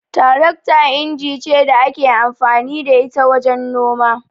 Tarakta inji ce da ake amfani da ita wajen noma.